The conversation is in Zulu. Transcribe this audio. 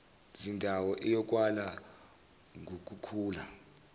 zindawo iyokalwa ngukukhula